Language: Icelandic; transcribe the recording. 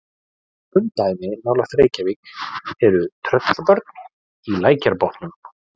Kunn dæmi nálægt Reykjavík eru Tröllabörn í Lækjarbotnum.